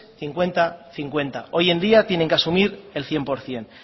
cincuenta cincuenta hoy en día tienen que asumir el cien por ciento